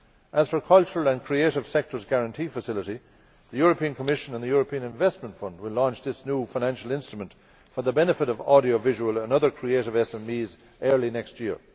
As for the Cultural and Creative Sectors Guarantee Facility, the Commission and the European Investment Fund will launch this new financial instrument for the benefit of audiovisual and other creative SMEs early next year.